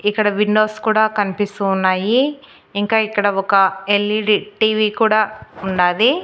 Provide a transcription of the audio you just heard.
ఇక్కడ విండోస్ కూడా కనిపిస్తూ ఉన్నాయి ఇంకా ఇక్కడ ఒక ఎల్_ఈ_డి టీవీ కూడా ఉండాది.